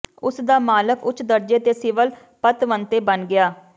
ਉਸ ਦਾ ਮਾਲਕ ਉੱਚ ਦਰਜੇ ਦੇ ਸਿਵਲ ਪਤਵੰਤੇ ਬਣ ਗਿਆ